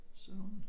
Så hun